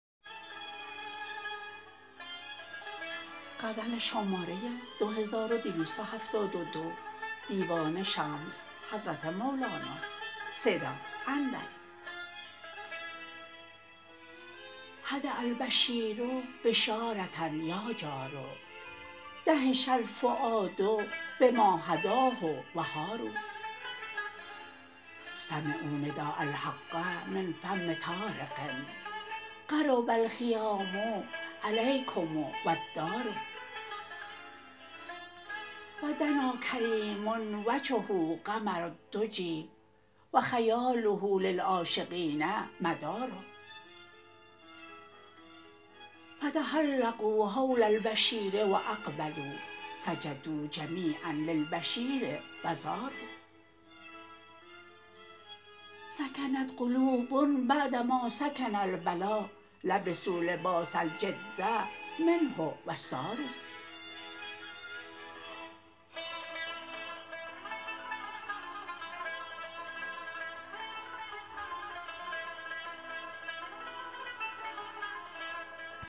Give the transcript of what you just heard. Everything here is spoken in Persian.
حد البشیر بشاره یا جار دهش الفؤاد بما حداه و حاروا سمعوا نداء الحق من فم طارق قرب الخیام الیکم و الدار و دنا کریم وجهه قمر الدجی و خیاله لعاشقین مدار فتحلقوا حول البشیر و اقبلوا سجدوا جمیعا للبشیر و زاروا سکنت قلوب بعد ما سکن البلا لبسوا لباس الجد منه و ساروا